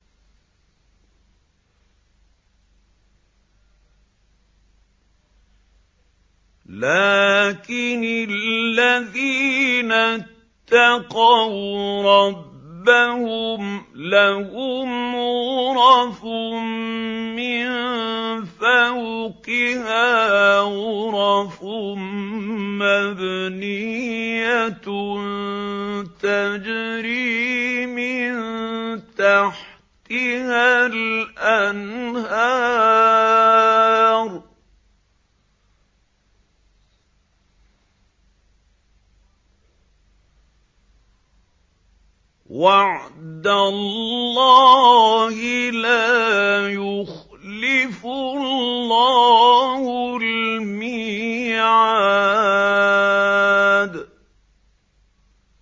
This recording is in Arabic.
لَٰكِنِ الَّذِينَ اتَّقَوْا رَبَّهُمْ لَهُمْ غُرَفٌ مِّن فَوْقِهَا غُرَفٌ مَّبْنِيَّةٌ تَجْرِي مِن تَحْتِهَا الْأَنْهَارُ ۖ وَعْدَ اللَّهِ ۖ لَا يُخْلِفُ اللَّهُ الْمِيعَادَ